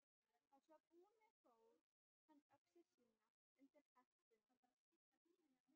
Að svo búnu fól hann öxi sína undir hempunni.